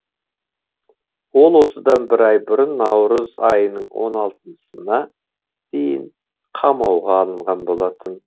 ол осыдан бір ай бұрын наурыз айының он алтысына дейін қамауға алынған болатын